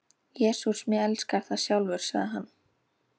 Jesús mig elskar það sjálfur sagði hann.